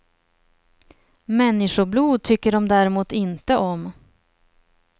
Människoblod tycker de däremot inte om.